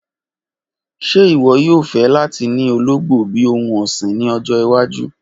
Ṣe iwọ yoo fẹ lati ni ologbo bi ohun ọsin ni ọjọ iwaju?